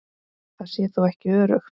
Það sé þó ekki öruggt.